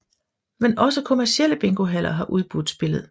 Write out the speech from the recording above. Men også kommercielle bingohaller har udbudt spillet